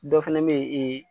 Dɔ fɛnɛ me yen